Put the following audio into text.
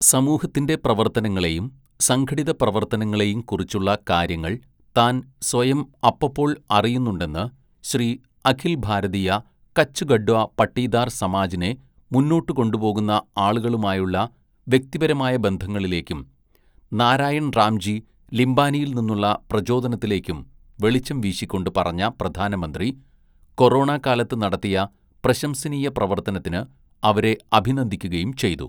"സമൂഹത്തിന്റെ പ്രവര്‍ത്തനങ്ങളെയും സംഘടിതപ്രവര്‍ത്തനങ്ങളെയും കുറിച്ചുളള കാര്യങ്ങള്‍ താന്‍ സ്വയം അപ്പപ്പോള്‍ അറിയുന്നുണ്ടെന്ന് ശ്രീ അഖില്‍ ഭാരതീയ കച്ച് കഡ്വ പട്ടീദാര്‍ സമാജിനെ മുന്നോട്ട് കൊണ്ടുപോകുന്ന ആളുകളുമായുള്ള വ്യക്തിപരമായ ബന്ധങ്ങളിലേക്കും നാരായണ്‍ റാംജി ലിംബാനിയില്‍ നിന്നുള്ള പ്രചോദനത്തിലേക്കും വെളിച്ചം വീശിക്കൊണ്ട് പറഞ്ഞ പ്രധാനമന്ത്രി, കൊറോണ കാലത്ത് നടത്തിയ പ്രശംസനീയ പ്രവര്‍ത്തനത്തിന് അവരെ അഭിനന്ദിക്കുകയും ചെയ്തു. "